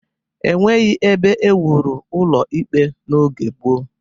E nweghi ebe e wuru ụlọ ikpe n'oge gboo.